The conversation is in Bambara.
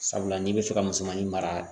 Sabula n'i bɛ fɛ ka musmanin mara